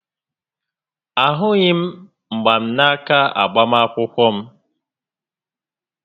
A hughị m mgbanaka agbamakwụkwọ m